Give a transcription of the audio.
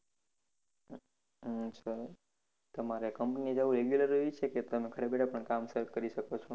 હમ સરસ તમારે company એ જવુ regular હોય છે કે તમે ઘરે બેઠા કામ કરી શકો છો